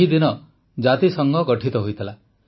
ଏହି ଦିନ ଜାତିସଂଘ ଗଠିତ ହୋଇଥିଲା